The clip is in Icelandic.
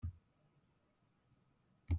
Hver ein baun í hýði hörð hægðirnar mun losa.